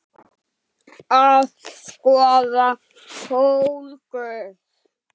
Að skoða fólkið.